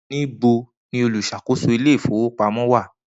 Nibo ni oluṣakoso ile-ifowopamọ wa?